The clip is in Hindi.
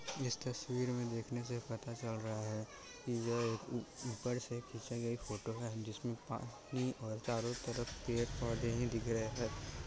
इस तस्वीर में देखने से पता चल रहा है की यह ऊपर से खीचा गया फोटो है जिस मे पानी और चारो तरफ पेड़-पौधे ही दिख रहे है ।